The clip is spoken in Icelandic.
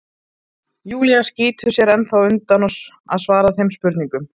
Júlía skýtur sér ennþá undan að svara þeim spurningum.